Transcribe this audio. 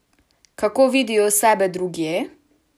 Kako vidijo sebe drugje?